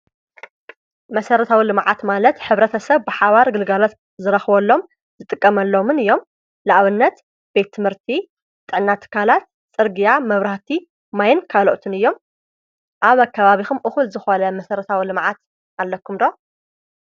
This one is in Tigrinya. መሰረታዊ ልመዓት ማለት ኅብረተ ሰብ ብሓባር ግልጋሎት ዝረኽበሎም ዝጥቀመሎምን እዮም። ንኣብነት ቤትምህርቲ፣ ጥዕና ትካላት፣ ጽርግያ፣ መብራቲ፣ ማይን ካልኦትን እዮም። ኣብ ኣካባቢኹም እኩል ዝኾነ መሰረታዊ ልምዓት ኣለኩም ዶ?